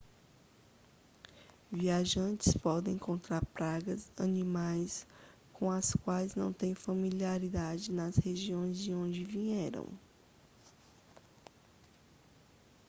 viajantes podem encontrar pragas animais com as quais não têm familiaridade nas regiões de onde vieram